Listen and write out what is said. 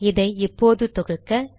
இதை இப்போது தொகுக்க